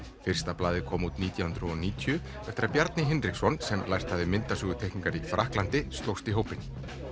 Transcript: fyrsta blaðið kom út nítján hundruð og níutíu eftir að Bjarni Hinriksson sem lært myndasöguteikningar í Frakklandi slóst í hópinn